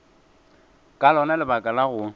ka lona lebaka la go